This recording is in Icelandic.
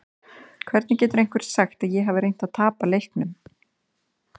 Hvernig getur einhver sagt að ég hafi reynt að tapa leiknum?